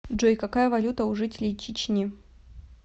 джой какая валюта у жителей чечни